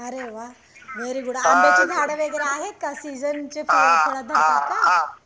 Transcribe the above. अरे वाह very good आम्ब्याची झाड वगैरे आहेत का सीजनचे का